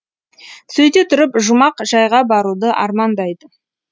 сөйте тұрып жұмақ жайға баруды армандайды